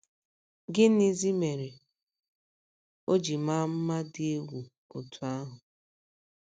Gịnịzi mere o ji maa mma dị egwu otú ahụ?